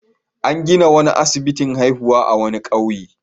An gina wani asibitin haihuwa a wani ƙauye.